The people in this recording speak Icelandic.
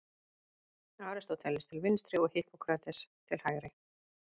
Aristóteles til vinstri og Hippókrates til hægri.